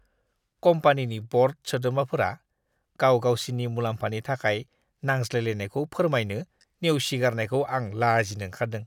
कम्पानिनि बर्ड सोद्रोमाफोरा गाव गावसिनि मुलाम्फानि थाखाय नांज्लायलायनायखौ फोरमायनो नेवसिगारनायखौ आं लाजिनो ओंखारदों।